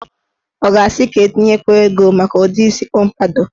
Ọ ga-asị ka etinyekwuo ego maka udi isi pọmpadọ?